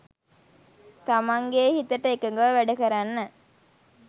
තමන්ගේ හිතට එකඟව වැඩකරන්න